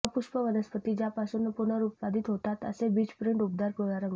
अपुष्प वनस्पती ज्यापासून पुनरुत्पादित होतात असे बीज प्रिंट उबदार पिवळा रंग